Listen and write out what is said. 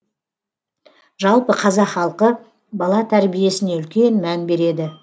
жалпы қазақ халқы бала тәрибесіне үлкен мән береді